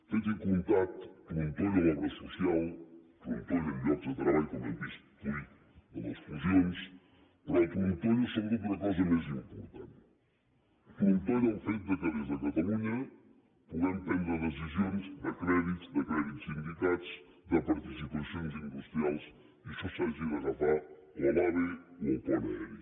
fet i comptat trontolla l’obra social trontollen llocs de treball com hem vist fruit de les fusions però trontolla sobretot una cosa més important trontolla el fet que des de catalunya puguem prendre decisions de crèdit de crèdits sindicats de participacions industrials i això s’hagi d’agafar o a l’ave o al pont aeri